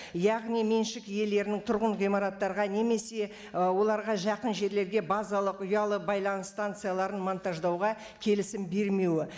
яғни меншік иелерінің тұрғын ғимараттарға немесе і оларға жақын жерлерге базалық ұялы байланыс станцияларын монтаждауға келісім бермеуі